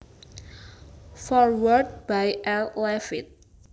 Foreword by R Laffitte